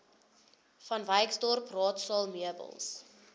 vanwyksdorp raadsaal meubels